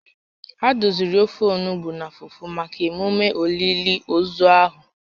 Ha doziri ofe onugbu na fufu maka emume olili ozu ahụ